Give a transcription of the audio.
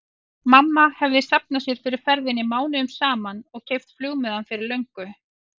Mamma hefði safnað sér fyrir ferðinni mánuðum saman og keypt flugmiðann fyrir löngu.